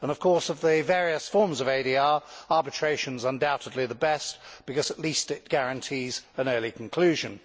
Of course, of the various forms of ADR, arbitration is undoubtedly the best, because at least it guarantees an early conclusion.